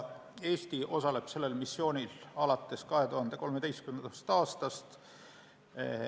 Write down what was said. Eesti osaleb sellel missioonil alates 2013. aastast.